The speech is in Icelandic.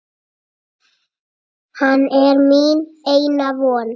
Hann er mín eina von.